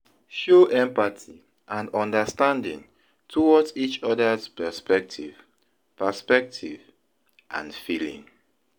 Show empathy and understanding towards each other's perspective perspective and feeling.